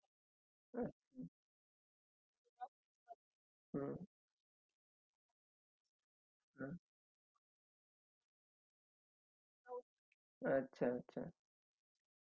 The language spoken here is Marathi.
त्याच्या नंतर जुन्या fridge मध्ये जो l m tripal door नुसता fridge आहे त्याच्यामध्ये hot water and cold water नव्हतं तुमच्या हेच्या मध्ये